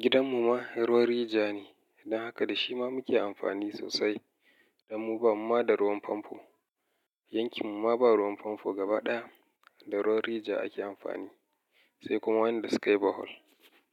Gidan mu ma ruwan rijiya ne. Dan haka da shi ma muke amfani sosai. Dan mu bamu ma da ruwan famfo. Yankin mu ma ba ruwan famfo gaba ɗaya da ruwan rijiya ake amfani, sai kuma wanda sukayi borehole.